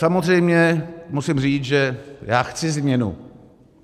Samozřejmě musím říct, že já chci změnu.